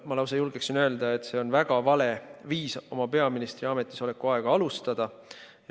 Ma lausa julgen öelda, et see on väga vale viis oma peaministriametis oleku aega alustada.